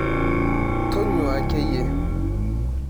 Tonyuaa akeyie.